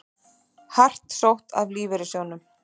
Hart sótt að lífeyrissjóðunum